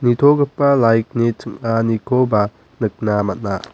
nitogipa light-ni ching·anikoba nikna man·a.